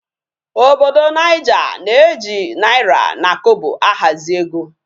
Obodo naija na eji naira na Kobo ahazi ego